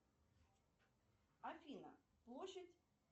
афина площадь